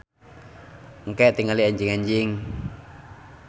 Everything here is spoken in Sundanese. Engke tingali enjing-enjing.